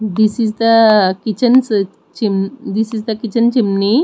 this is the kitchens chim this is the kitchen chimney.